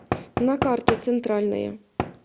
на карте центральная